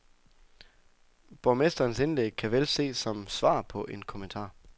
Borgmesterens indlæg kan vel ses som svar på en kommentar.